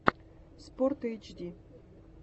спортэйчди